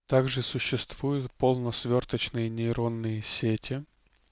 также существуют полно свёрточные нейронные сети